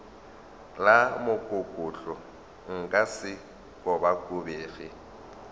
la mokokotlo nka se kobakobege